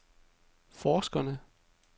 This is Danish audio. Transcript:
forskerne